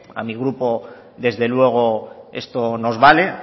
a mi grupo desde luego esto nos vale